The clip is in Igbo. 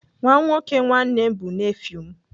Nwa nwoke nwanne m bụ nefiu m.